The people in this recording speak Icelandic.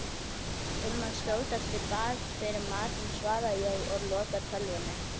Um að skjótast í bað fyrir matinn, svara ég og loka tölvunni.